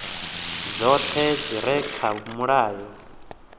dzoṱhe dzi re kha mulayo